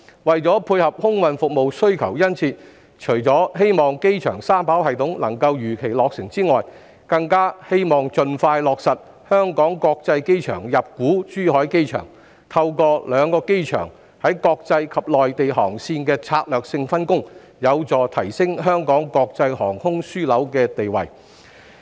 為配合空運服務的殷切需求，除了希望機場三跑系統能夠如期落成外，更希望盡快落實香港國際機場入股珠海機場，透過兩個機場在國際及內地航線的策略性分工，有助提升香港國際航空樞紐地位。